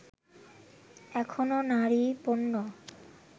এখনও নারী পণ্য